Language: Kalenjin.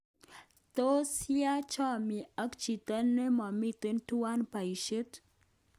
Tos ya ochomie ak chito nomiten tuwan boishet?